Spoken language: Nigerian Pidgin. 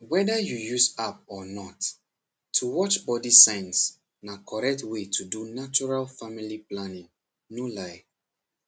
whether you use app or not to watch body signs na correct way to do natural family planning no lie